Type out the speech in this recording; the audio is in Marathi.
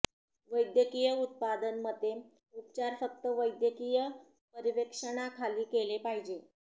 वैद्यकीय उत्पादन मते उपचार फक्त वैद्यकीय पर्यवेक्षणाखाली केले पाहिजे